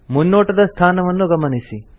ಮುನ್ನೋಟದ ಸ್ಥಾನವನ್ನು ಗಮನಿಸಿ